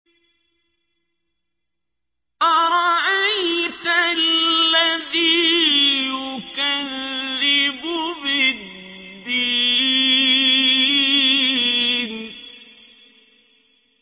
أَرَأَيْتَ الَّذِي يُكَذِّبُ بِالدِّينِ